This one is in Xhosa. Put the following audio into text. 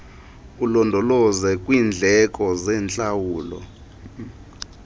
ulondoloze kwiindleko zentlawulo